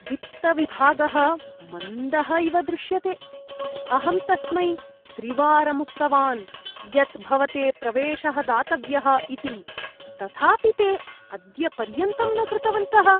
वित्तविभागः मन्दः इव दृश्यते। अहं तस्मै त्रिवारम् उक्तवान् यत् भवते प्रवेशः दातव्यः इति, तथापि ते अद्यपर्यन्तं न कृतवन्तः।